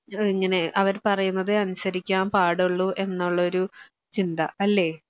ഏഹ് ഇങ്ങനെ അവർ പറയുന്നതെ അനുസരിക്കാൻ പാടുള്ളൂ എന്നൊള്ളഒര് ചിന്ത അല്ലേ